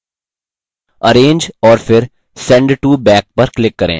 arrange और फिर send to back पर click करें